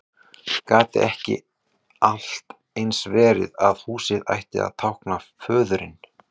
Gat ekki allt eins verið að húsið ætti að tákna föðurinn?